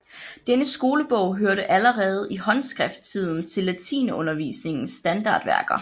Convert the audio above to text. Denne skolebog hørte allerede i håndskrifttiden til latinundervisningens standardværker